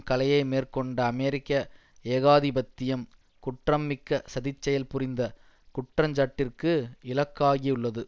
கலையை மேற்கொண்ட அமெரிக்க ஏகாதிபத்தியம் குற்றம்மிக்க சதிச்செயல் புரிந்த குற்றஞ்சாட்டிற்கு இலக்காகியுள்ளது